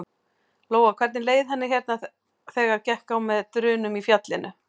Lóa: Hvernig leið henni hérna þegar gekk á með drunum í fjallinu?